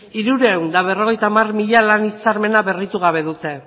hirurehun eta berrogeita hamar mila lan hitzarmena berritu gabe dute